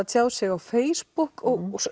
tjáð sig á Facebook og